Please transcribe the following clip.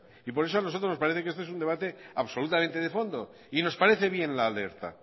y por eso a nosotros nos parece que este es un debate absolutamente de fondo y nos parece bien la alerta